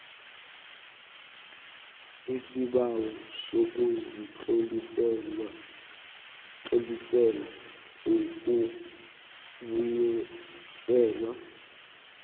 isibawo sokuzitlolisela ukubuyiselwa